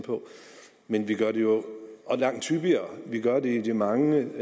men vi gør det jo langt hyppigere vi gør det i de mange